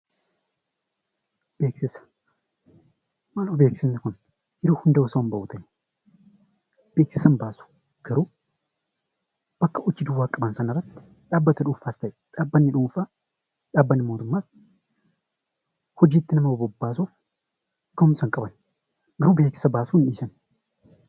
Beeksifni kun osoo yeroo hundaa hin bahu ta'ee bakka hojii duwwaa qabame sanarratti dhaabbata dhuunfaas ta'ee dhaabbanni mootummaas hojiitti nama bobbaasuuf gahumsa hin qaban yoo beeksisa baasuu dhiisan.